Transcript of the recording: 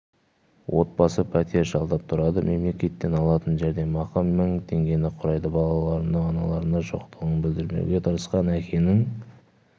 отбасы пәтер жалдап тұрады мемлекеттен алатын жәрдемақы мың теңгені құрайды балаларына аналарының жоқтығын білдірмеуге тырысқан әкенің